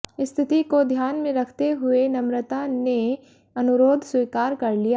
स्थिति को ध्यान में रखते हुए नमृता ने अनुरोध स्वीकार कर लिया